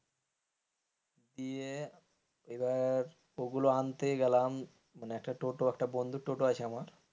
দিয়ে এবার ওগুলো আনতে গেলাম মানে একটা টোটা, বন্ধু টোটো আছে আমার,